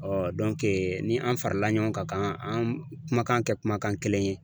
ni an farala ɲɔgɔn kan ka an kumakan kɛ kumakan kelen ye.